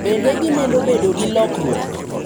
Bende gimedo bedo gi lokruok.